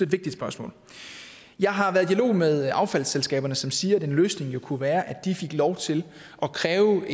vigtigt spørgsmål jeg har været i dialog med affaldsselskaberne som siger at en løsning jo kunne være at de fik lov til at kræve